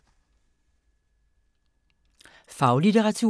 Faglitteratur